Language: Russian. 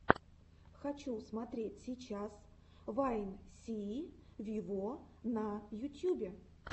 хочу смотреть сейчас вайн сии виво на ютьюбе